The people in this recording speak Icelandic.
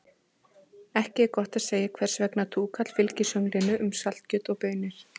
Ekki er gott að segja hvers vegna túkall fylgir sönglinu um saltkjöt og baunir.